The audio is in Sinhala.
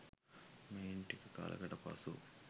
මෙයින් ටික කලකට පසු